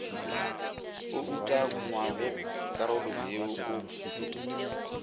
o ukangwago karolong yeo o